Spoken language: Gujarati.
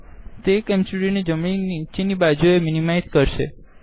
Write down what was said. તે કેમ સ્ટુડીઓનિ નીચે નિ બાજુએ મીનીમાઇઝ કરશે